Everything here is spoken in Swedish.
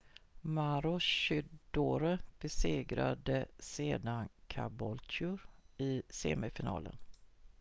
maroochydore besegrade sedan caboolture i semifinalen